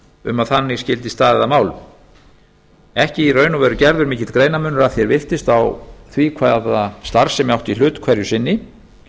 um að þannig skyldi staðið að málum ekki í raun og veru gerður mikill greinarmunur að því er virtist á á því hvaða starfsemi átti í hut hverju sinni